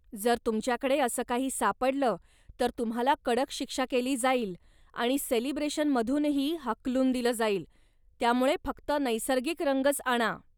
जर तुमच्याकडे असं काही सापडलं, तर तुम्हाला कडक शिक्षा केली जाईल आणि सेलिब्रेशनमधूनही हाकलून दिलं जाईल, त्यामुळे फक्त नैसर्गिक रंगच आणा!